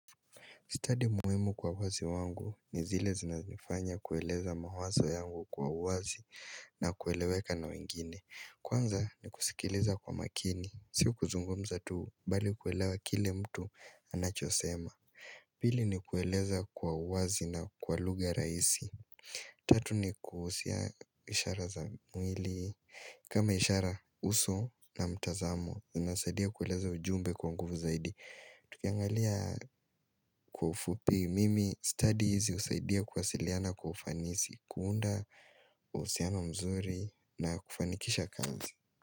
Stadi muhimu kwa uwazi wangu ni zile zinanifanya kueleza mawazo yangu kwa uwazi na kueleweka na wengine. Kwanza ni kusikiliza kwa makini. Sio kuzungumza tu bali kuelewa kile mtu anachosema. Pili ni kueleza kwa uwazi na kwa lugha rahisi. Tatu ni kuhusia ishara za mwili. Kama ishara uso na mtazamo, zinasadia kueleza ujumbe kwa nguvu zaidi. Tukiangalia kwa ufupi mimi stadi hizi husaidia kuwasiliana kwa ufanisi, kuunda uhusiano mzuri na kufanikisha kazi.